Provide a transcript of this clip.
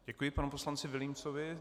Děkuji panu poslanci Vilímcovi.